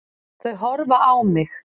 Þau horfa á mig.